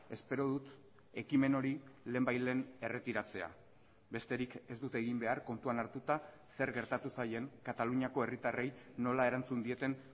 espero dut ekimen hori lehenbailehen erretiratzea besterik ez dute egin behar kontuan hartuta zer gertatu zaien kataluniako herritarrei nola erantzun dieten